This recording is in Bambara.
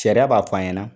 Sariya b'a fɔ an ɲɛna